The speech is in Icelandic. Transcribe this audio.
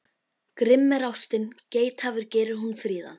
Grimm er ástin, geithafur gerir hún fríðan.